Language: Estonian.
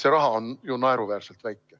See raha on ju naeruväärselt väike.